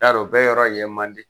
Yar'o bɛɛ yɔrɔ ye mandi?